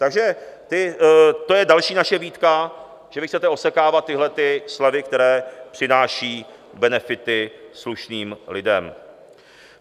Takže to je další naše výtka, že vy chcete osekávat tyhle slevy, které přináší benefity slušným lidem.